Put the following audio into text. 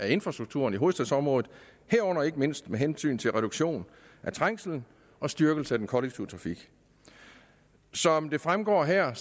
infrastrukturen i hovedstadsområdet herunder ikke mindst med hensyn til reduktion af trængslen og styrkelse af den kollektive trafik som det fremgår her